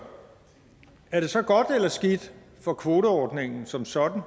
er det så godt eller skidt for kvoteordningen som sådan